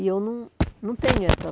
E eu não não tenho essa...